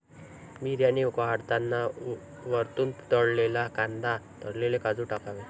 बिर्याणी वाढताना वरतून तळलेला कांदा तळलेले काजू टाकावे.